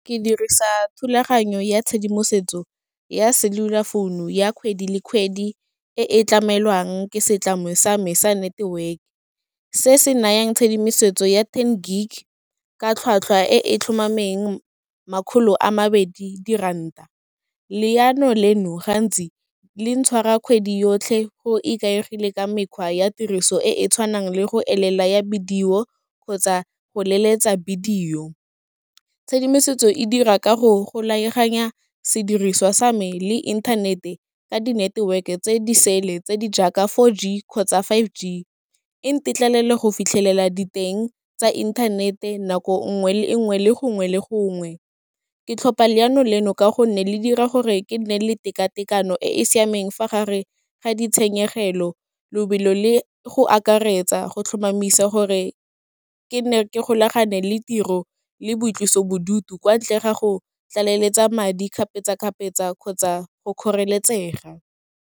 Ke dirisa thulaganyo ya tshedimosetso ya cellular founu ya kgwedi le kgwedi, e e tlamelwang ke setlamo sa me sa network. Se se nayang tshedimosetso ya ten gig, ka tlhwatlhwa e e tlhomameng, makgolo a mabedi di ranta, leano leno, gantsi le ntshwara kgwedi yotlhe, go ikaegile ka mekgwa ya tiriso e e tshwanang le go elela ya video, kgotsa go leletsa video, tshedimosetso e dira ka go golaganya sediriswa sa me le inthanete ka di network-e tse di sele, tse di jaaka four g, kgotsa five g, e ntetlelela go fitlhelela diteng tsa inthanete nako ngwe le ngwe, le gongwe le gongwe. Ke tlhopa leano leno, ka go nne le dira gore ke nne le tekatekano e e siameng fa gare ga ditshenyegelo, lobelo le go akaretsa go tlhomamisa gore ke ne ke golagane le tiro le boitlosobodutu kwa ntle ga go tlaleletsa madi kgapetsakgapetsa kgotsa go kgoreletsega.